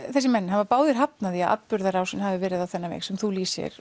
þessir menn hafa báðir hafnað því að atburðarrásin hafi verið á þennan veg sem þú lýsir